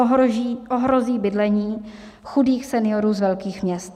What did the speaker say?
Ohrozí bydlení chudých seniorů z velkých měst.